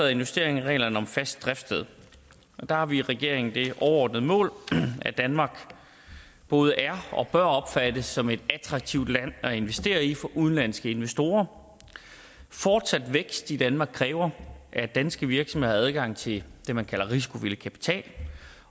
er en justering af reglerne om fast driftssted og der har vi i regeringen det overordnede mål at danmark både er og bør opfattes som et attraktivt land at investere i for udenlandske investorer fortsat vækst i danmark kræver at danske virksomheder har adgang til det man kalder risikovillig kapital